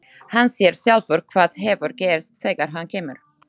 Hann sér sjálfur hvað hefur gerst þegar hann kemur.